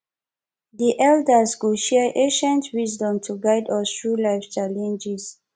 the elders go share ancient wisdom to guide us through life challenges